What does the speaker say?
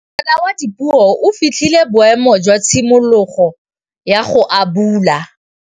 Ngwana wa Dipuo o fitlhile boêmô jwa tshimologô ya go abula.